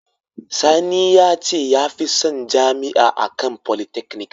Sani ya ce ya fi son Jami’a a kan polytechnic